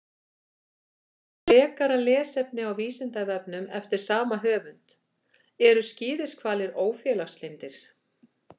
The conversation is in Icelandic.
Frekara lesefni á Vísindavefnum eftir sama höfund: Eru skíðishvalir ófélagslyndir?